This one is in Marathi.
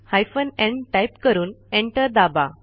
हायफेन न् टाईप करून एंटर दाबा